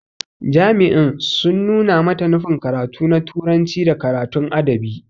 Jami'in sun nuna mata nufin karatu na turanci da karatun adabi.